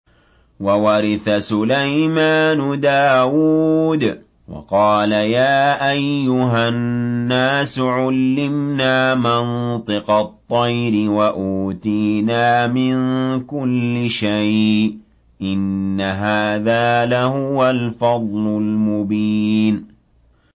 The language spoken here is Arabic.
وَوَرِثَ سُلَيْمَانُ دَاوُودَ ۖ وَقَالَ يَا أَيُّهَا النَّاسُ عُلِّمْنَا مَنطِقَ الطَّيْرِ وَأُوتِينَا مِن كُلِّ شَيْءٍ ۖ إِنَّ هَٰذَا لَهُوَ الْفَضْلُ الْمُبِينُ